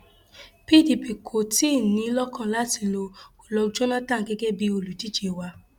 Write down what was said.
pdp kò tí ì ní in lọkàn láti lo goodluck jonathan gẹgẹ bíi olùdíje wa